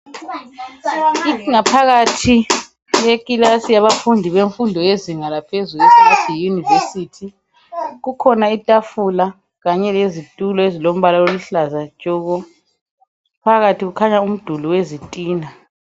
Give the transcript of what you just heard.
Iphakathi yeclass yabafundi bezinga laphezulu esingathi yi university kukhona itafula kanye lezitulo ezilombala oluhlaza tshoko